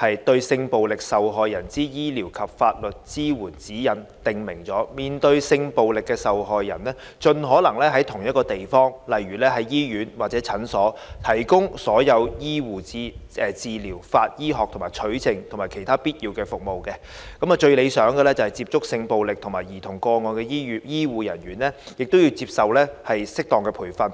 《對性暴力受害人之醫療及法律支援指引》訂明，面對性暴力的受害人，盡可能在同一個地方，例如在醫院或診所，提供所有醫護治療、法醫學的取證及其他必要的服務；最理想的是接觸性暴力受害人及受虐兒童個案的醫護人員，亦要接受適當的培訓。